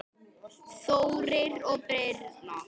Þórir og Birna.